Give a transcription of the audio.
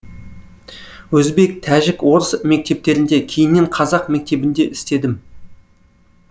өзбек тәжік орыс мектептерінде кейіннен қазақ мектебінде істедім